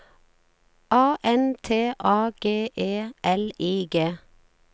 A N T A G E L I G